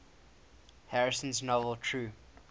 harrison's novel true